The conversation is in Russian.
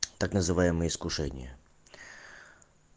так называемое искушение